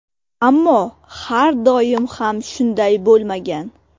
Ammo har doim ham shunday bo‘lmagan.